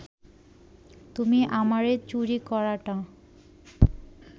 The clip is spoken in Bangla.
তুমি আমারে চুরি করাটা